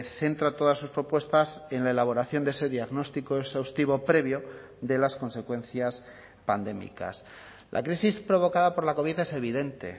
centra todas sus propuestas en la elaboración de ese diagnóstico exhaustivo previo de las consecuencias pandémicas la crisis provocada por la covid es evidente